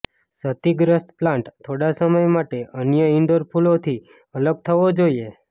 ક્ષતિગ્રસ્ત પ્લાન્ટ થોડા સમય માટે અન્ય ઇન્ડોર ફૂલોથી અલગ થવો જોઈએ